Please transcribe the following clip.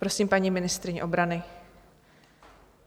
Prosím, paní ministryně obrany.